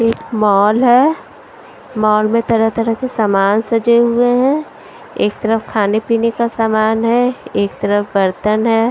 एक मॉल है मॉल में तरह तरह के सामान सजे हुए हैं एक तरफ खाने पीने का सामान है एक तरफ बर्तन है।